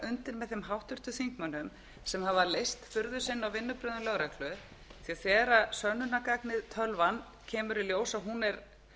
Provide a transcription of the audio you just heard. undir með þeim háttvirtum þingmönnum sem hafa lýst furðu sinni á vinnubrögðum lögreglu því að þegar í ljós kemur að sönnunargagnið tölvan er